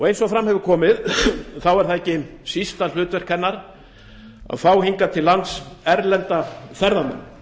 eins og fram hefur komið er ekki sísta hlutverk hennar að fá hingað til lands erlenda ferðamenn